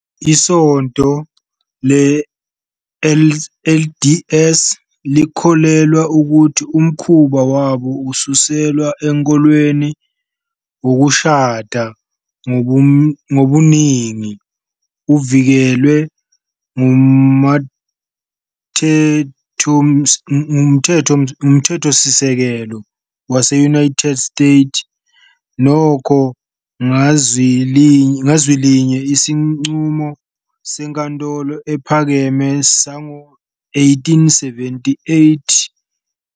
ISonto le-LDS likholelwa ukuthi umkhuba wabo osuselwa enkolweni wokushada ngobuningi uvikelwe nguMthethosisekelo wase-United States. Nokho, ngazwilinye isinqumo seNkantolo Ephakeme sango-"1878 uReynolds v."